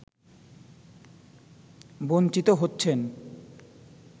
বঞ্চিত হচ্ছেন